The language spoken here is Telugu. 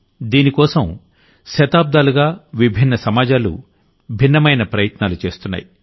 దీనికోసం శతాబ్దాలుగా విభిన్న సమాజాలు భిన్నమైన ప్రయత్నాలు చేస్తున్నాయి